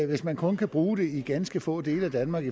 hvis man kun kan bruge det i ganske få dele af danmark